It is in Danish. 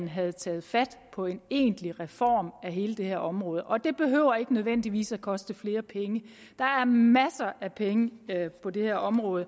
have taget fat på en egentlig reform af hele det her område og det behøver ikke nødvendigvis at koste flere penge der er masser af penge på det her område